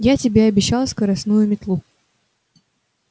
я тебе обещал скоростную метлу